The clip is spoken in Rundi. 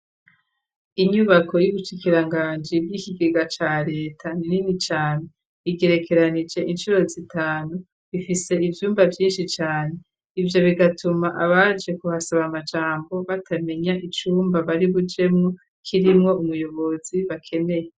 Inyubako y'ubushikiranganji bw'ikigega ca reta nini cane igerekeranije inshuro zitanu ifise ivyumba vyinshi cane ivyo bigatuma abaje kuhasaba amajambo batamenya icumba bari bujemu kirimwo ubuyobozi bakeneye.